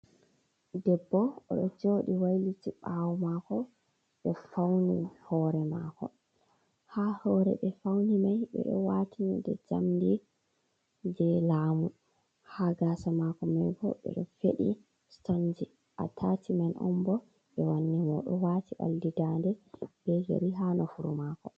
Debbo oɗo joɗi wayliti ɓawo mako oɗo fauni hore mako. Ha hore ɓe fauni mai ɓeɗo wati hunde jamdi jei lamu. Ha gasa mako mai bo ɓeɗo feɗi stonji. Atachi men on bo ɓe wanni mo. Oɗo wati oldi dande be yeri ha nofuru mako.